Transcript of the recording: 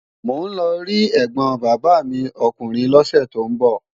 Mò ń lọ rí ẹ̀gbọ̀n bàbá mi ọkùnrin lọ́sẹ̀ tó ń bọ̀